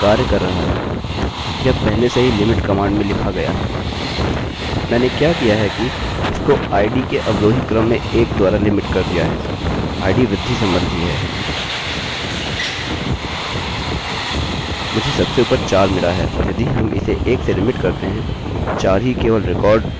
मैंने क्या किया है कि इसको id के अवरोही क्रम में 1 द्वारा लिमिट कर दिया है id वृद्धि सम्बन्धी है मुझे सबसे ऊपर 4 मिला है और यदि हम इसे 1 से लिमिटlimit करते हैं 4 ही केवल रिकार्डअभिलेखहोगा जोकि चुना गया है